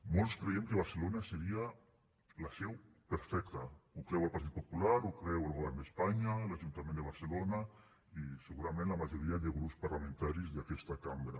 molts creiem que barcelona en seria la seu perfecta ho creu el partit popular ho creu el govern d’espanya l’ajuntament de barcelona i segurament la majoria de grups parlamentaris d’aquesta cambra